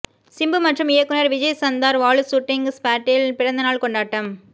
சிம்பு மற்றும் இயக்குனர் விஜய் சந்தார் வாலு சூட்டிங்க் ஸ்பாட்ட்டில் பிறந்தநாள் கொண்டாட்டம்